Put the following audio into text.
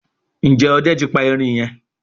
Njé Òde tí pa erin yen?